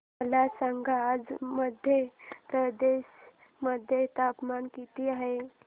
मला सांगा आज मध्य प्रदेश मध्ये तापमान किती आहे